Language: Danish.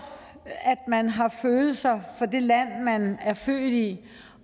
at man har følelser for det land man er født i